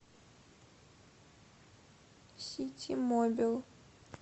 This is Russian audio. ситимобил